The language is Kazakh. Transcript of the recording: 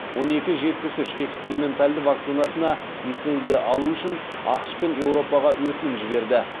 он екі жетпіс үш эксперименталды вакцинасына лицензия алу үшін ақш пен еуропаға өтінім жіберді